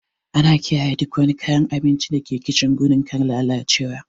Ana kiyaye duk wani kayan abinci da ke kicin gudun kar lalacewa.